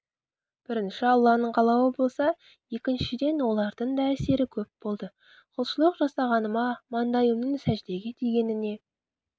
бірінші алланың қалауы болса екіншіден олардың да әсері көп болды құлшылық жасағаныма маңдайымның сәждеге тигеніне